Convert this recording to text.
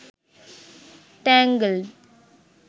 tangled